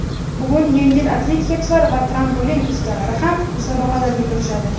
Bugun yengil atletikachilar va trampolin ustalari ham musobaqalarga kirishadi.